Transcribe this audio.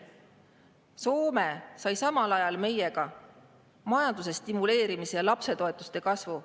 Soome sai samal ajal majanduse stimuleerimise ja lapsetoetuste kasvu.